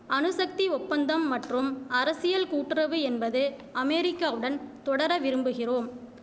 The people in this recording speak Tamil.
அணுசக்தி ஒப்பந்தம் மற்றும் அரசியல் கூட்டுறவு என்பது அமேரிக்காவுடன் தொடர விரும்புகிறோம்